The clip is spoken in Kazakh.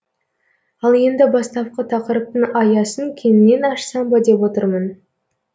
ал енді бастапқы тақырыптың аясын кеңінен ашсам ба деп отырмын